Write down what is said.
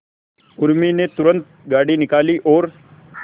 उर्मी ने तुरंत गाड़ी निकाली और